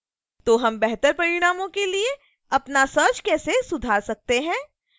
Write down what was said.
तो हम बेहतर परिणामों के लिए अपना सर्च कैसे सुधार सकते हैं